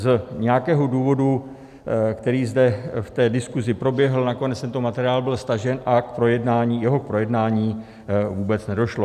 Z nějakého důvodu, který zde v té diskuzi proběhl, nakonec tento materiál byl stažen a k jeho projednání vůbec nedošlo.